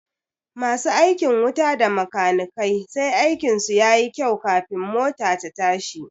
Masu aikin wuta da makanikai sai aikin su yayi kyau kafin mota ta tashi